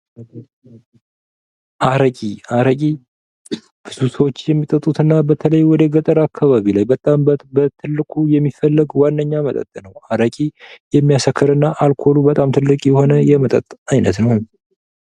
አረቂ:- አረቂ ብዙ ሰዎች የሚጠጡት እና በተለይ ወደ ገጠር አካባቢ በጣም በትልቁ የሚፈለግ ዋነኛ መጠጥ ነዉ። አረቂ የሚያሰክር እና አልኮሉ በጣም ትልቅ የሆነ የመጠጥ አይነት ነዉ።